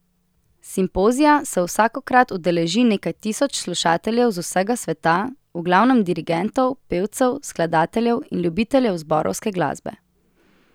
Simpozija se vsakokrat udeleži nekaj tisoč slušateljev z vsega sveta, v glavnem dirigentov, pevcev, skladateljev in ljubiteljev zborovske glasbe.